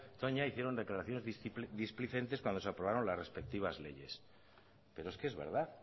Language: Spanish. toña hicieron declaraciones displicentes cuando se aprobaron las respectivas leyes pero es que es verdad